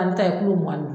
An bɛ taa mugan ni